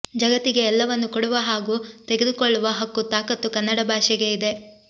ಜಗತ್ತಿಗೆ ಎಲ್ಲವನ್ನು ಕೊಡುವ ಹಾಗೂ ತೆಗೆದು ಕೊಳ್ಳುವ ಹಕ್ಕು ತಾಕತ್ತು ಕನ್ನಡ ಭಾಷೆಗೆ ಇದೆ